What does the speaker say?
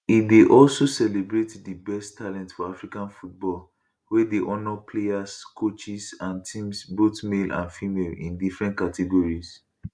e dey also celebrate di best talent for african football wey dey honour players coaches and teams both male and female in different categories